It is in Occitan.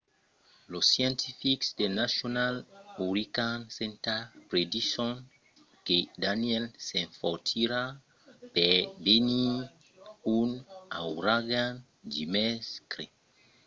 los scientifics del national hurricane center predison que danielle s'enfortirà per venir un auragan dimècres